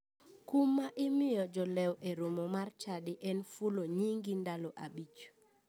Kum ma imiyo jolewo e romo mar chadi en fulo nyingi ndalo abich.